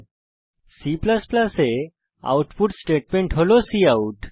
এছাড়াও মনে রাখবেন যে C এ আউটপুট স্টেটমেন্ট হল কাউট